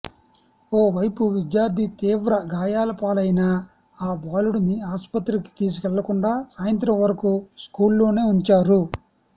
ఓ వైపు విద్యార్థి తీవ్ర గాయాలపాలయినా ఆ బాలుడిని ఆస్పత్రికి తీసుకెళ్లకుండా సాయంత్రం వరకు స్కూల్లోనే ఉంచారు